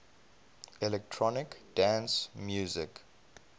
electronic dance music